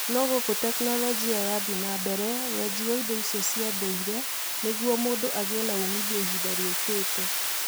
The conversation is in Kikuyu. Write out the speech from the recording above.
No guku tekinolojia yathiĩ na mbere weji wa indo icio cia ndũire nĩguo mũndũ agĩe na umithio ihinda rĩũkĩte".